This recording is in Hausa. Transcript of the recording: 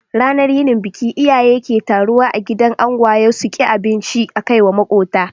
Ranar yinin biki, iyaye ke taruwa a gidan angwaye suki abinci akaiwa makota